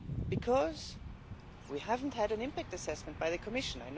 because we haven't had an impact assessment by the Commission.